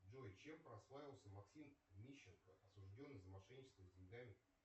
джой чем прославился максим мищенко осужденный за мошенничество с деньгами